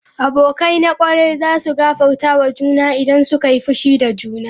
Abokai na kwarai za su gafarta wa juna idan suka yi fushi da juna.